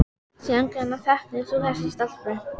Síðan hvenær þekkir þú þessa stelpu?